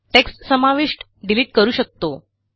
text समाविष्ट delete करू शकतो